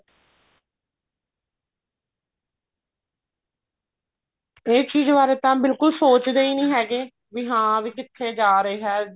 ਇਹ ਚੀਜ਼ ਬਾਰੇ ਤਾਂ ਬਿਲਕੁਲ ਸੋਚਦੇ ਹੀ ਨੀ ਹੈਗੇ ਵੀ ਹਾਂ ਕਿੱਥੇ ਜਾ ਰਿਹਾ